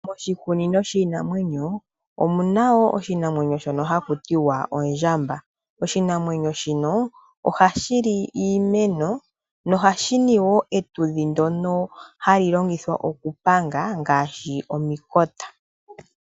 Moshikunino shiinamwenyo omu na wo oshinamwenyo shono haku ti wa ondjamba oshinamwenyo shino ohashi li iimeno nomapumba gayo ohaga longithwa okupanga omikithi ngaashi omukota.